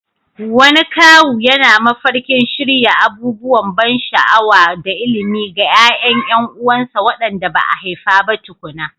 Wani kawu yana mafarkin shirya abubuwan ban sha'awa da ilimi ga ƴaƴan ƴan uwansa waɗanda ba a haifa ba tukuna.